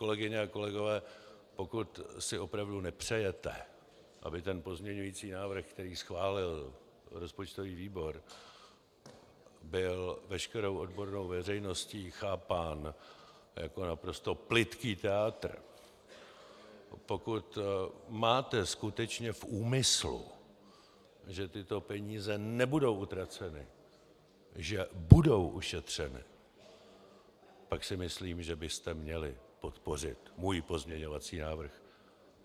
Kolegyně a kolegové, pokud si opravdu nepřejete, aby ten pozměňovací návrh, který schválil rozpočtový výbor, byl veškerou odbornou veřejností chápán jako naprosto plytký tyátr, pokud máte skutečně v úmyslu, že tyto peníze nebudou utraceny, že budou ušetřeny, pak si myslím, že byste měli podpořit můj pozměňovací návrh.